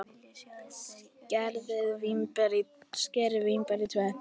Skerið vínber í tvennt.